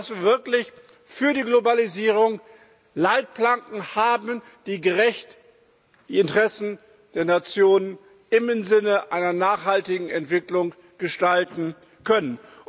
Das wir wirklich für die Globalisierung Leitplanken haben, die gerecht die Interessen der Nationen im Sinne einer nachhaltigen Entwicklung gestalten können.